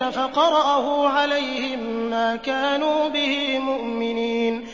فَقَرَأَهُ عَلَيْهِم مَّا كَانُوا بِهِ مُؤْمِنِينَ